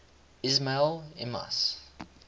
ismaili imams